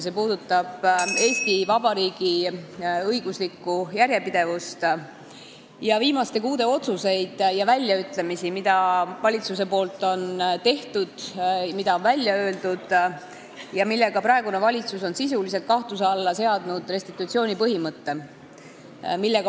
See puudutab Eesti Vabariigi õiguslikku järjepidevust ning viimaste kuude otsuseid ja väljaütlemisi, mida valitsus on teinud, mida ta on välja öelnud ja millega praegune valitsus on sisuliselt kahtluse alla seadnud restitutsiooni põhimõtte.